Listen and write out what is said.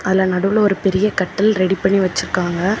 அதுல நடுவுல ஒரு பெரிய கட்டில் ரெடி பண்ணி வச்சிருக்காங்க.